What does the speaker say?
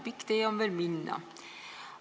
Pikk tee on veel minna.